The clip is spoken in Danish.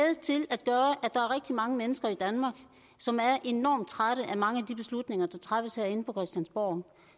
til mange mennesker i danmark som er enormt trætte af mange af de beslutninger der træffes herinde på christiansborg